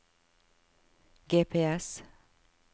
GPS